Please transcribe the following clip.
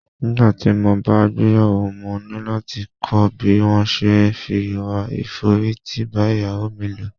Nígbàtí mo bá gbéyàwó, mo ní láti kọ́ bí wón se é fi ìwà ìforítì bá Ìyàwó mi lò.